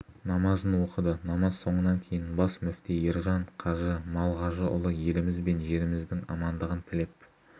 намазын оқыды намаз соңынан кейін бас мүфти ержан қажы малғажыұлы еліміз бен жеріміздің амандығын тілеп